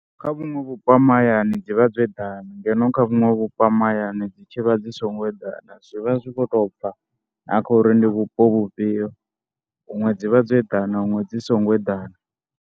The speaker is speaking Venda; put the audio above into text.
Kha vhuṅwe vhupo ha mahayani dzi vha dzo eḓana ngeno kha vhuṅwe vhupo ha mahayani dzi tshi vha dzi songo eḓana. Zwi vha zwi khou tou bva na kha uri ndi vhupo vhufhio, huṅwe dzi vha dzo eḓana huṅwe dzi songo eḓana.